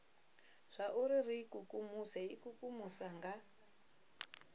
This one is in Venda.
zwauri ri ikukumuse ikukumusa nga